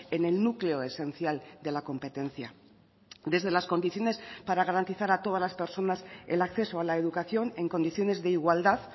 en el núcleo esencial de la competencia desde las condiciones para garantizar a todas las personas el acceso a la educación en condiciones de igualdad